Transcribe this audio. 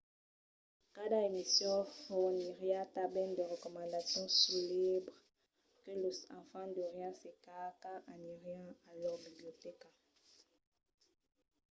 cada emission forniriá tanben de recomandacions suls libres que los enfants deurián cercar quand anirián a lor bibliotèca